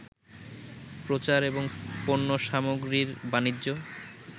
প্রচার এবং পণ্যসামগ্রীর বাণিজ্য